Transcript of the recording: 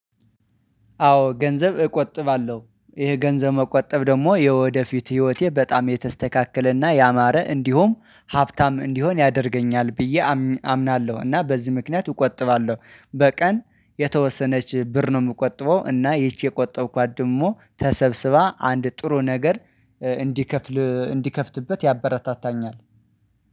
አዎ ገንዘብ እቆጥባለሁ። ይሄ ገንዘብ መቆጠብ ደግሞ የወደፊት ህይወቴ በጣም የተስተካከለና ያማረ እንዲሁም ሀብታም እንዲሆን ያደርገኛል ብዬ አምናለሁ እና በዚህ ምክንያት እቆጥባለሁ። በቀን የተወሰነች ብር ነው የምቆጥበው እና ይቺ የቆጠብኳት ደግሞ ተሰብስባ አንድ ጥሩ ነገር እንዲከፍል እንዲከፍትበት ያበረታታኛል